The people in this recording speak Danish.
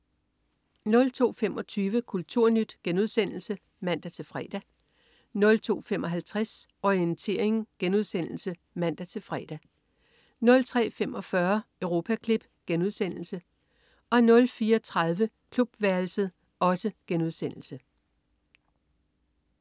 02.25 Kulturnyt* (man-fre) 02.55 Orientering* (man-fre) 03.45 Europaklip* 04.30 Klubværelset*